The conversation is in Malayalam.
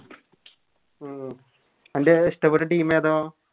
ഉം അൻറെ ഇഷ്ട്ടപ്പെട്ട Team ഏതാ